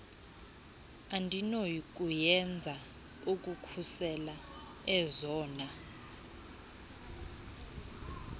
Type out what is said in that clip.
endinokuyenza ukukhusela ezona